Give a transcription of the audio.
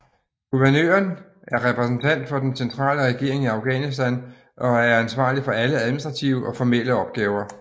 Guvernøren er repræsentent for den centrale regering i Afghanistan og er ansvarlig for alle administrative og formelle opgaver